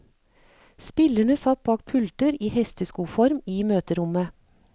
Spillerne satt bak pulter i en hesteskoform i møterommet.